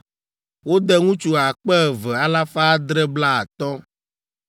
Wode ŋutsu akpe eve, alafa adre blaatɔ̃ (2,750).